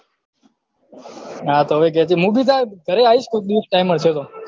હા તો હવે કે જે હું ભી તાર ઘરે આયીશ કોક દિવસ time મળશે તો